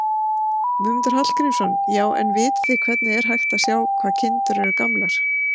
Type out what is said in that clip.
Guðmundur Hallgrímsson: Já, en vitið þið hvernig er hægt að sjá hvað kindurnar eru gamlar?